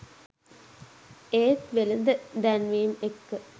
ඒත් වෙළඳ දැන්වීම් එක්ක